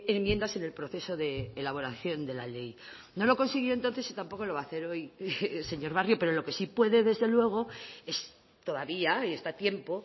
enmiendas en el proceso de elaboración de la ley no lo consiguió entonces y tampoco lo va a hacer hoy señor barrio pero lo que sí puede desde luego es todavía y está tiempo